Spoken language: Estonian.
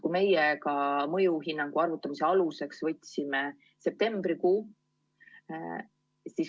Oma mõjuhinnangu arvutamise aluseks võtsime septembrikuu.